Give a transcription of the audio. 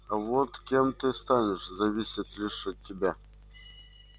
а вот кем ты станешь зависит лишь от тебя